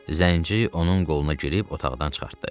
Zənci onun qoluna girib otaqdan çıxartdı.